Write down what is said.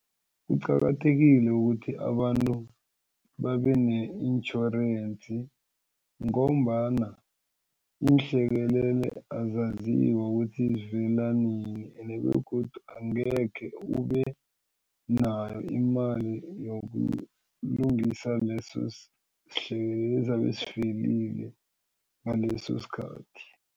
Kuqakathekile ukuthi abantu babe ne-intjhorensi ngombana iinhlekelele azaziwa ukuthi zivela nini ene begodu angekhe ubenayo imali yokulungisa leso sihlekelele ezabe sivelile ngaleso sikhathi.